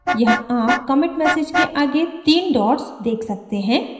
यहाँ आप commit message के आगे तीन dots देख सकते हैं